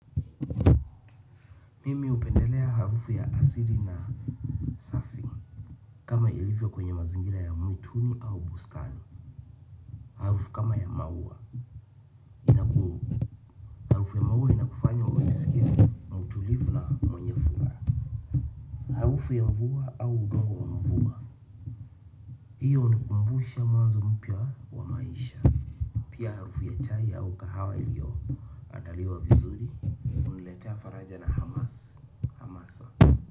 Mimi upendelea harufu ya asiri na safi. Kama ilivyo kwenye mazingira ya mwituni au bustani. Harufu ya maua inakufanya ujiskie mautulivu na mwenye furaha. Harufu ya mvua au udongo wa mvua hiyo unikumbusha mwanzo mpya wa maisha. Pia harufu ya chai au kahawa ilio andaliwa vizuri uniletea faraja na hamasa.